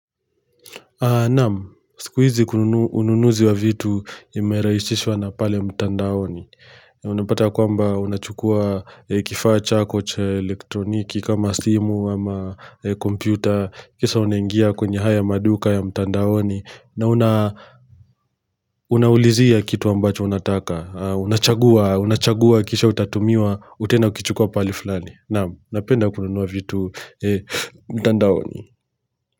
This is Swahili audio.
Naam, siku hizi unununuzi wa vitu imerahisishwa na pale mtandaoni. Unapata ya kwamba unachukua kifaa chako cha elektroniki kama simu ama kompyuta kisha unaingia kwenye haya maduka ya mtandaoni. Na unaulizia kitu ambacho unataka, unachagua kisha utatumiwa utaenda ukichukua pahali fulani. Naam, napenda kununua vitu mtandaoni.